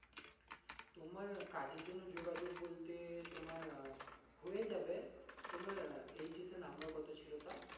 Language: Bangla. তোমার কাজের জন্য যোগাযোগ বলতে তোমার আহ হয়ে যাবে তোমার আহ HS এ number কত ছিলো তা?